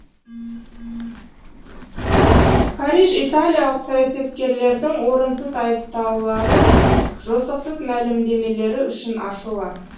париж италиялық саясаткерлердің орынсыз айыптаулары мен жосықсыз мәлімдемелері үшін ашулы